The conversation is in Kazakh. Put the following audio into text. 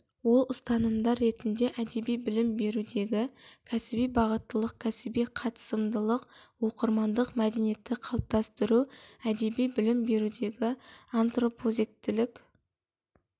ол ұстанымдар ретінде әдеби білім берудегі кәсіби бағыттылық кәсіби қатысымдылық оқырмандық мәдениетті қалыптастыру әдеби білім берудегі антропозектілік